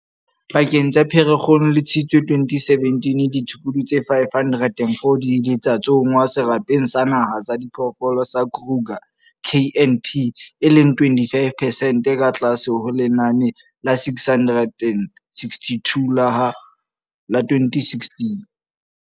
Pakeng tsa Pherekgong le Tshitwe 2017, ditshukudu tse 504 di ile tsa tsongwa Serapeng sa Naha sa Diphoofolo sa Kruger, KNP, e leng 25 percent ka tlase ho lenane la 662 la ha la 2016.